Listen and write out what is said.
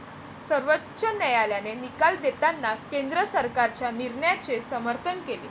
सर्वोच्च न्यायालयाने निकाल देताना केंद्र सरकारच्या निर्णयाचे समर्थन केले.